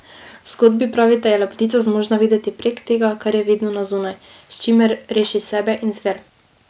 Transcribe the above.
V zgodbi, pravite, je lepotica zmožna videti prek tega, kar je vidno na zunaj, s čimer reši sebe in zver.